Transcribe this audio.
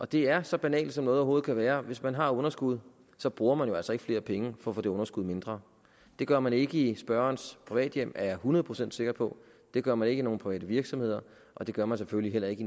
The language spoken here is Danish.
det er så banalt som noget overhovedet kan være hvis man har et underskud så bruger man jo altså ikke flere penge for at få det underskud gjort mindre det gør man ikke i spørgerens privathjem er jeg hundrede procent sikker på det gør man ikke i nogen private virksomheder og det gør man selvfølgelig heller ikke